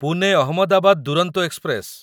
Pune Ahmedabad Duronto express